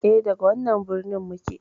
E, daga wannan birnin muke.